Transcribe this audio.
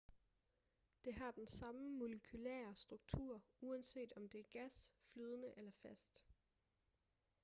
det har den samme molekylære struktur uanset om det er gas flydende eller fast